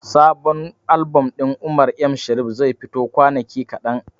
Sabon albom ɗin Umar M Sharif zai fito a kwanaki kaɗan.